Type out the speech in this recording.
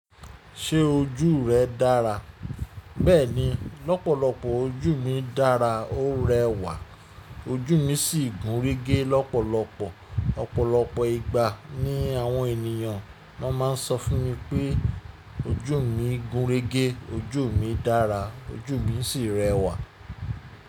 Ṣé ojú rẹ dára? Bẹ́ẹ̀ni lọ́pọ̀lọpọ̀ ojú mi dára, ó rẹwà, ojú mi sì gúnrégé lọ́pọ̀lọpọ̀. Ọ̀pọ̀lọpọ̀ ìgbà ni àwọn ènìyàn máa ń sọ fún mi pé ojú mi gúnrégé, ojú mi dára, ojú mi sì rẹwà.